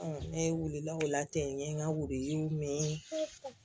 ne weele la o la ten n ye n ka wurudiw ye